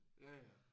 Ja ja